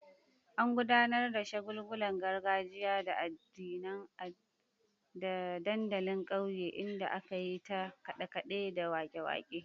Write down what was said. An gudanar da shagulgulan gargajiya a dandalin kauye, inda aka yi ta kade-kade da wake-wake.